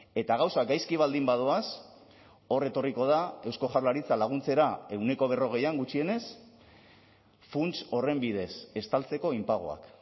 eta gauzak gaizki baldin badoaz hor etorriko da eusko jaurlaritza laguntzera ehuneko berrogeian gutxienez funts horren bidez estaltzeko inpagoak